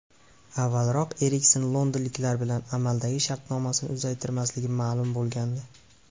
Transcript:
Avvalroq Eriksen londonliklar bilan amaldagi shartnomasini uzaytirmasligi ma’lum bo‘lgandi.